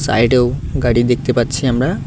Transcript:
Side -এও গাড়ি দেখতে পারছি আমরা।